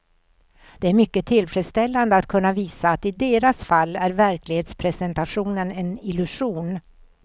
Det är mycket tillfredsställande att kunna visa att i deras fall är verklighetsrepresentationen en illusion.